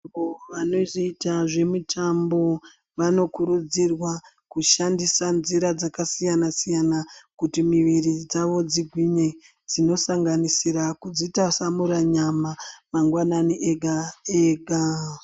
Vanthu vanoita zvemitambo vanokurudzirwa kushandisa nzira dzakasiyana-siyana kuti miviri dzavo dzigwinye dzinosanganisira kudzitwasamura nyama mangwanani ega-ega.